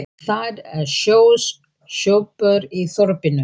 Það eru sjö sjoppur í þorpinu!